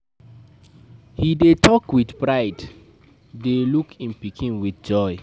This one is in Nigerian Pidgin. He dey talk with pride dey look im pikin with joy.